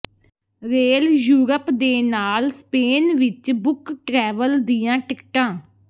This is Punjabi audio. ਰੇਲ ਯੂਰਪ ਦੇ ਨਾਲ ਸਪੇਨ ਵਿੱਚ ਬੁੱਕ ਟ੍ਰੈਵਲ ਦੀਆਂ ਟਿਕਟਾਂ